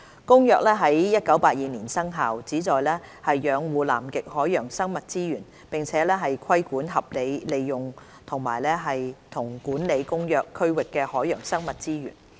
《公約》於1982年生效，旨在養護南極海洋生物資源，並規管合理利用和管理《公約》區域的海洋生物資源。